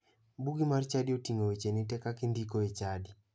Bugi mar chadi oting'o wecheni te kaka indiko e chadi.